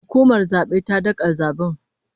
Hukumar zabe ta daga zaben